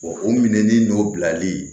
o minɛnin n'o bilali